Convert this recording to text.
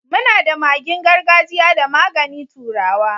mu na da magin gargajia da magani turawa.